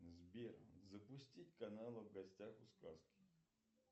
сбер запустить каналы в гостях у сказки